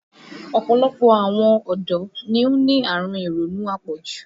Ọ̀pọ̀lọpọ̀ àwọn ọ̀dọ́ ni ó ní àrùn ironú apọ̀jù